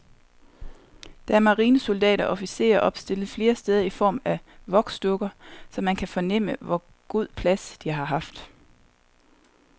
Der er marinesoldater og officerer opstillet flere steder i form af voksdukker, så man kan fornemme, hvor god plads de har haft.